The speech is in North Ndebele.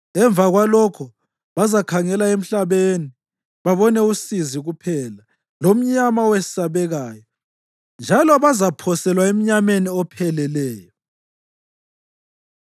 Emva kwalokho bazakhangela emhlabeni babone usizi kuphela, lomnyama owesabekayo, njalo bazaphoselwa emnyameni opheleleyo.